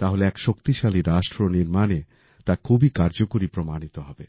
তাহলে এক শক্তিশালী রাষ্ট্র নির্মাণে তা খুবই কার্যকরী প্রমাণিত হবে